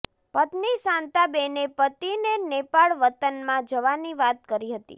પત્ની શાંતાબેને પતિને નેપાળ વતનમાં જવાની વાત કરી હતી